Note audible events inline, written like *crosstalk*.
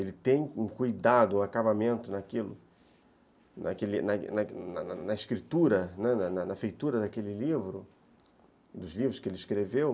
Ele tem um cuidado, um acabamento *unintelligible* na escritura, na feitura daquele livro, dos livros que ele escreveu,